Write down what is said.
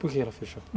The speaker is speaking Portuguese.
Por que ela fechou?